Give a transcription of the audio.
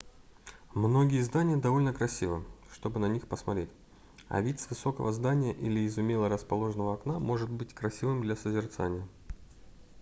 многие здания довольно красивы чтобы на них посмотреть а вид с высокого здания или из умело расположенного окна может быть красивым для созерцания